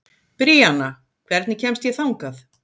Bríanna, hvernig kemst ég þangað?